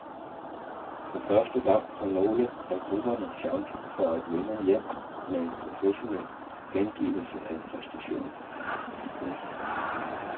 For første gang har nogle af grupperne chancen for at vende hjem med en professionel gengivelse af præstationen. punktum